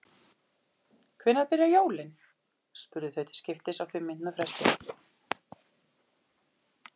Hvenær byrja jólin? spurðu þau til skiptist á fimm mínútna fresti.